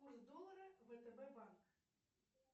курс доллара втб банк